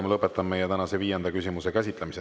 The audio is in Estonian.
Ma lõpetan meie tänase viienda küsimuse käsitlemise.